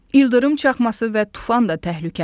Yıldırım çaxması və tufan da təhlükəlidir.